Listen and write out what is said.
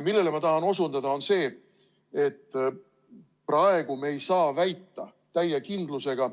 Millele ma tahan osutada, on see, et praegu me ei saa väita täie kindlusega,